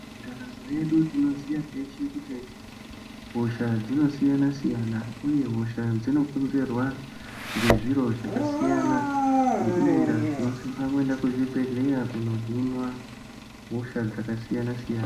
Ndaramo yedu tinoziya teshe kuti hosha dzinosiyana siyana uye hosha dzinokurirwa ngezviro zvakasiyana ngeiyi ndaaa tinosisa kuenda kuzvibhedhlera kunohinwa hosha dzakasiyana siyana.